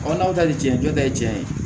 n'aw ta ni cɛnjɛ ye